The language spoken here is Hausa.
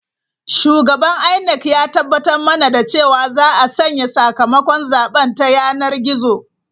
Shugaban INEC ya tabbatar mana da cewa za a sanya sakamakon zaben ta yanar gizo.